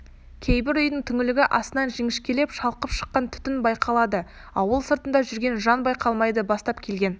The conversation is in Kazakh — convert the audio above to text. кейбір үйдің түңлігі астынан жіңішкелеп шалқып шыққан түтін байқалады ауыл сыртында жүрген жан байқалмайды бастап келген